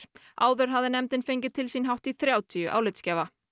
áður hafði nefndin fengið til sín hátt í þrjátíu álitsgjafa